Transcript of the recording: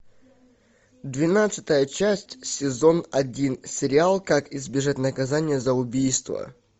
двенадцатая часть сезон один сериал как избежать наказания за убийство